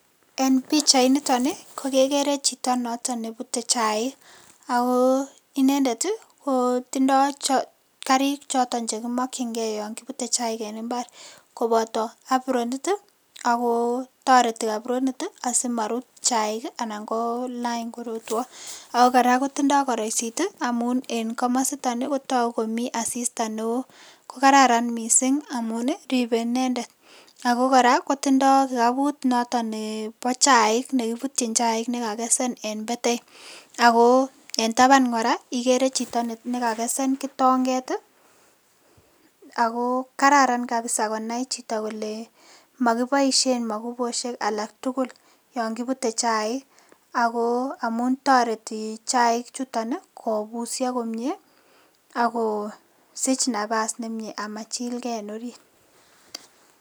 En pichainitoni ko kekere chito noto ne butei chaik, ako inendet ii ko tindoi karik choton che kimokchinkei yon kibutei chaik en imbar, koboto apronit ii ako toreti apronit ii asimarut chaik ii anan kolany korotwo, ako kora kotindoi koroisit ii amun en komasiton ii kotoku komi asista ne oo, ko kararan mising amun ii ribe inendet, ako kora kotindoi kikaput noton nebo chaik nekiputyin chaik ne kakesen en betai, ako en taban kora ikere chito ne kakesen kitonget ii, ako kararan kabisa konai chito kole makiboisien makupusiek alak tugul yon kibute chaik, ako amun toreti chaik chuton ii, kobusio komie akosich nabas nemie amachilkei en orit.